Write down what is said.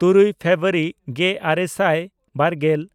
ᱛᱩᱨᱩᱭ ᱯᱷᱮᱵᱨᱩᱣᱟᱨᱤ ᱜᱮᱼᱟᱨᱮ ᱥᱟᱭ ᱵᱟᱨᱜᱮᱞ